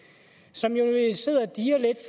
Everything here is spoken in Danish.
så